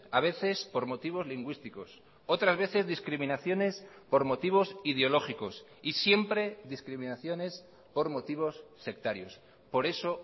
a veces por motivos lingüísticos otras veces discriminaciones por motivos ideológicos y siempre discriminaciones por motivos sectarios por eso